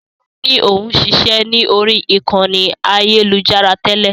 Sọlá ni òun ṣiṣẹ́ ni ori ìkànnì ayélujára tẹ́lẹ̀